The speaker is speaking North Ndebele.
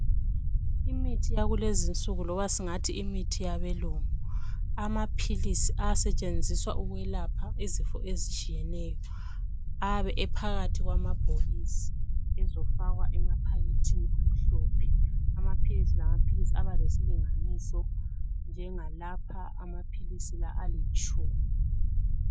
imithi yakulezinsuku loba singathi imthi yabelungu amaphilisi asetshenziswa ukwelapha izifo ezitshiyeneyo abe ephakathi kwamabhokisi izofakwa emakhabothini amhlophe amaphilisi lamaphilisi alesinganiso njenga lapha amaphilisi la alitshumi